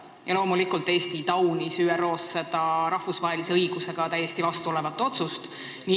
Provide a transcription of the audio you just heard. Ja loomulikult Eesti taunis ÜRO-s seda rahvusvahelise õigusega täiesti vastu olevat otsust.